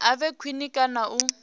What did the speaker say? a vhe khwine kana u